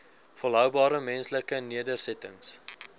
volhoubare menslike nedersettings